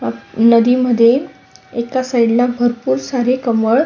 नदीमध्ये एका साइड ला खूप सारे कमळ--